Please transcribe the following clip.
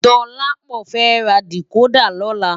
Dolapo fè rá dikódà lòlá